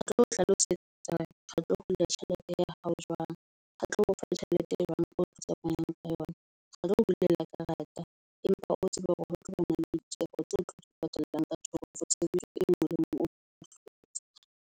Re tlo hlalosetsa hore re tlo hula tjhelete ya hao jwang. Re tlo o fa tjhelete e jwang e o tsamayang ka yona. Retlo o bulela karata, empa o tsebe hore ho tla bana le ditjeho tse o tlo di patalang ka thoko ho tshebetso e nngwe le e ngwe.